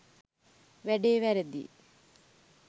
වෑඩේ වෑරෑදියි